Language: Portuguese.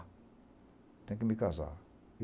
Tenho que me casar.